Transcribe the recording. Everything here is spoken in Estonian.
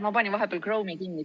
Ma panin vahepeal Chrome'i kinni.